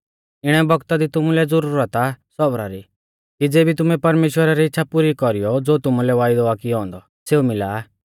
इणै बौगता दी तुमुलै ज़ुरत आ सौबरा री कि ज़ेबी तुमै परमेश्‍वरा री इच़्छ़ा पुरी कौरीयौ ज़ो तुमुलै वायदौ आ कियौ औन्दौ सेऊ मिला